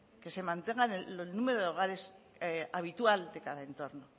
que se mantenga el número de hogares habitual de cada entorno